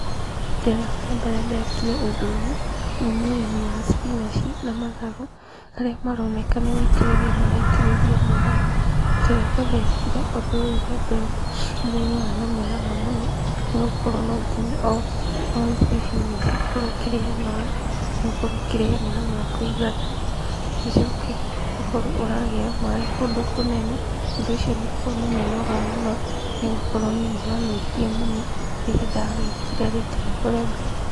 Rita rĩakwa rĩambere ndekire ũndũ ũyũ, ũyũ nĩũrĩmi wa cipinanji na matharũ, harĩa maroneka nĩgũitĩrĩria maraitĩrĩria maaĩ. Rita rĩakwa ndekire ũndũ ũyũ rĩambere, ũndũ ũyũ nĩwarĩ na mũnoga mũno, nĩgũkorwo nonginya, o ithibinanji ũkorwo ũkĩrĩhe maaĩ, na ũkorwo ũkĩrĩhe maaĩ ma kũigana, rĩcoke ũkorwo ũragĩra maaĩ kũndũ kũnene, ũndũ ũcio nĩũkoragwo na mĩnoga mũno, nĩgũkorwo niĩ nĩwanogirie mũno, rĩrĩa ndawĩkire rita rĩakwa rĩambere.